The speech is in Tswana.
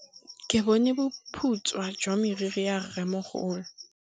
Ke bone boputswa jwa meriri ya rrêmogolo.